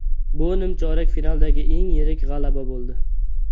Bu nimchorak finaldagi eng yirik g‘alaba bo‘ldi.